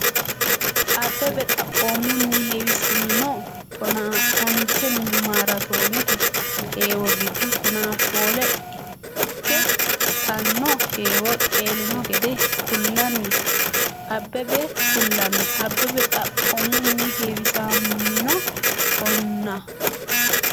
Abbebe xaphoomunni heewisamino tonaa onte maaraatoonete heewo giddo tonaa shoole ikki- tanno heewo qeelino gede kullanni Abbebe xaphoomunni heewisamino tonaa.